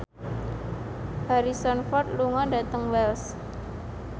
Harrison Ford lunga dhateng Wells